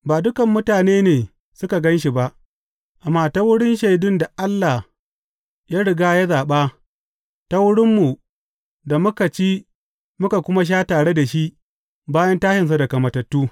Ba dukan mutane ne suka gan shi ba, amma ta wurin shaidun da Allah ya riga ya zaɓa, ta wurinmu da muka ci muka kuma sha tare da shi bayan tashinsa daga matattu.